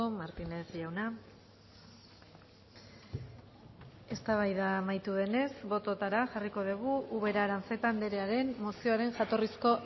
martínez jauna eztabaida amaitu denez bototara jarriko dugu ubera arantzeta andrearen mozioaren jatorrizko